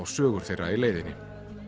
sögur þeirra í leiðinni